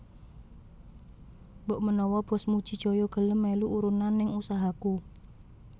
Mbok menawa bos Muji Jaya gelem melu urunan ning usahaku